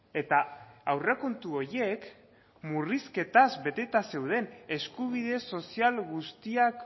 eta aurrekontu horiek murrizketaz beteta zeuden eskubide sozial guztiak